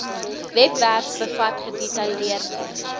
webwerf bevat gedetailleerde